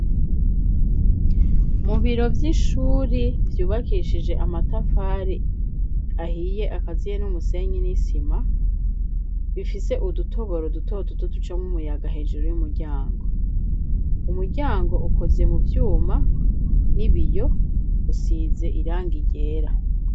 Mu biro vy'ishuri ryubakishije amatafari ahiye akaziye n'umusenyi n'isima, bifise udutoboro duto duto ducamwo umuyaga hejuru y'umuryango, umuryango ukoze mu vyuma n'ibiyo, usize irangi ryera.